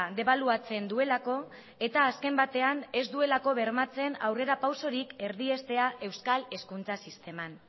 debaluatzen duelako eta azken batean ez duelako bermatzen aurrerapausorik erdiestea euskal hezkuntza sisteman